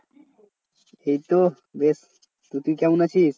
এইতো বেশ তুই কেমন আছিস?